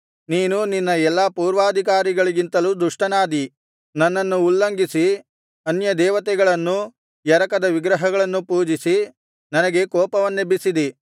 ನೀನು ನಿನ್ನ ಎಲ್ಲಾ ಪೂರ್ವಾಧಿಕಾರಿಗಳಿಗಿಂತಲೂ ದುಷ್ಟನಾದಿ ನನ್ನನ್ನು ಉಲ್ಲಂಘಿಸಿ ಅನ್ಯದೇವತೆಗಳನ್ನೂ ಎರಕದ ವಿಗ್ರಹಗಳನ್ನೂ ಪೂಜಿಸಿ ನನಗೆ ಕೋಪವನ್ನೆಬ್ಬಿಸಿದಿ